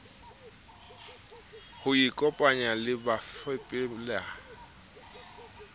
ho ikopanya le bafepedi ho